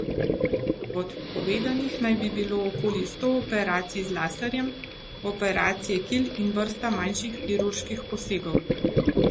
Odpovedanih naj bi bilo okoli sto operacij z laserjem, operacije kil in vrsta manjših kirurških posegov.